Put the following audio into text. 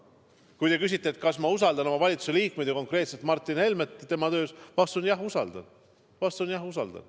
Kui te küsite, kas ma usaldan oma valitsuse liikmeid ja konkreetselt Martin Helmet tema töös, siis vastus on: jah, usaldan.